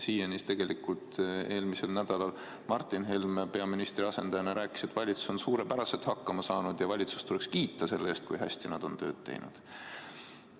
Eelmisel nädalal Martin Helme peaministri asendajana rääkis, et valitsus on suurepäraselt hakkama saanud ja valitsust tuleks kiita selle eest, kui hästi nad tööd on teinud.